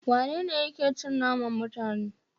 Wanene yake cin naman mutane?